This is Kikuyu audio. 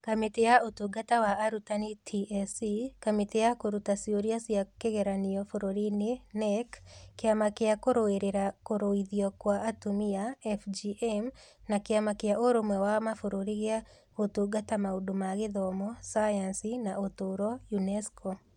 Kamĩtĩ ya Ũtungata wa Arutani (TSC), Kamĩtĩ ya Kũruta Ciũria cia kĩgeranio Bũrũri-ini (KNEC), Kĩama kĩa kũrũĩrĩra Kũruithio gwa Atumia (FGM) na Kĩama kĩa Ũrũmwe wa Mabũrũri gĩa Gũtungata Maũndũ ma Gĩthomo, Sayansi, na Ũtũũro (UNESCO).